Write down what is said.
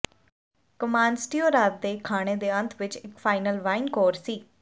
ਕੋਮਾਂਸਤੀਓ ਰਾਤ ਦੇ ਖਾਣੇ ਦੇ ਅੰਤ ਵਿੱਚ ਇੱਕ ਫਾਈਨਲ ਵਾਈਨ ਕੋਰ ਸੀ